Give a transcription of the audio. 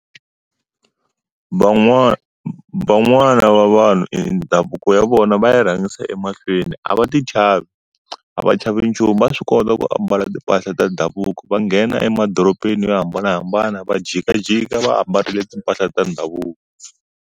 Van'wana van'wana va vanhu endhavuko ya vona va ya rhangisa emahlweni. A va ti chavi. A va chavi nchumu va swi kota ku ambala timpahla ta ndhavuko, va nghena emadorobeni yo hambanahambana va jikajika va ambarile timpahla ta ndhavuko.